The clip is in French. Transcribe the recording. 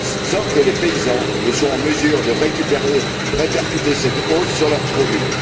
sans que les paysans ne soient en mesure de répercuter cette hausse sur leurs produits.